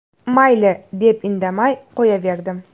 Mayli, deb indamay qo‘yaverdim.